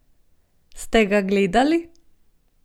Ste ga gledali?